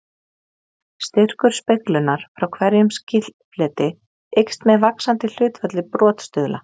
Styrkur speglunar frá hverjum skilfleti eykst með vaxandi hlutfalli brotstuðla.